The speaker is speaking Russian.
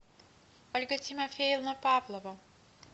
ольга тимофеевна павлова